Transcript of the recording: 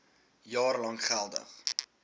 jaar lank geldig